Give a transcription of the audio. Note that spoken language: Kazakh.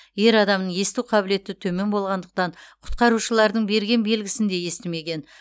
ер адамның есту қабілеті төмен болғандықтан құтқарушылардың берген белгісін де естімеген